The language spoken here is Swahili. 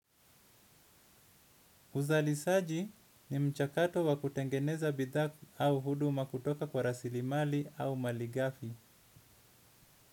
Uzalishaji ni mchakato wa kutengeneza bidhaa au huduma kutoka kwa rasilimali au malighafi.